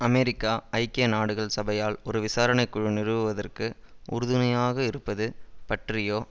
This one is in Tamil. அமெரிக்கா ஐக்கிய நாடுகள் சபையால் ஒரு விசாரணை குழு நிறுவுவதற்கு உறுதுணையாக இருப்பது பற்றியோ